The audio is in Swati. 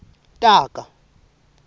taga